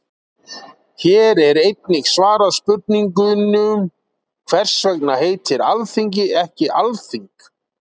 Hér er einnig svarað spurningunum: Hvers vegna heitir Alþingi ekki Alþing?